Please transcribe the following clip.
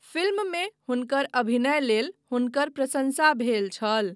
फिल्ममे हुनकर अभिनय लेल हुनकर प्रशंसा भेल छल।